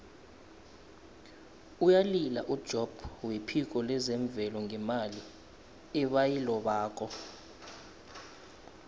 uyalila ujobb wephiko lezemvelo ngemali ebayilobako